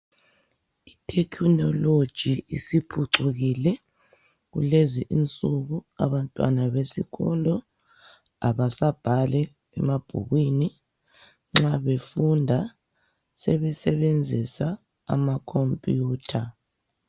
I technology isiphucukile kulezi insuku abantwana besikolo, abasabhali emabhukwini, nxa befunda sebesebenzisa ama computer.